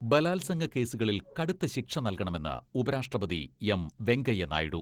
ബലാത്സംഗ കേസുകളിൽ കടുത്ത ശിക്ഷ നല്കണമെന്ന് ഉപരാഷ്ട്രപതി എം വെങ്കയ്യ നായിഡു.